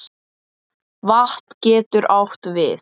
Vatn getur átt við